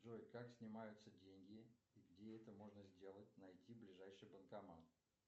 джой как снимаются деньги и где это можно сделать найти ближайший банкомат